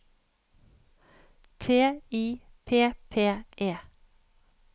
T I P P E